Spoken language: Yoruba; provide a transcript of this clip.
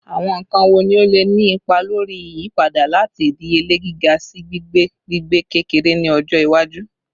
Awọn nkan wo ni o le ni ipa lori iyipada lati idiyele giga si gbigbe gbigbe-kekere ni ọjọ iwaju?